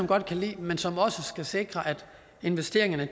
godt kan lide men som også skal sikre at investeringerne